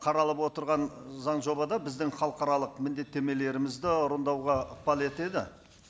қаралып отырған заң жобада біздің халықаралық міндеттемелерімізді ықпал етеді